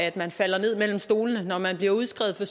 at man falder ned mellem to stole når man bliver udskrevet fra